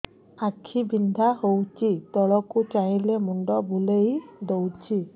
ଆଖି ବିନ୍ଧା ହଉଚି ତଳକୁ ଚାହିଁଲେ ମୁଣ୍ଡ ବୁଲେଇ ଦଉଛି